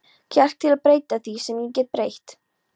kjark til að breyta því, sem ég get breytt.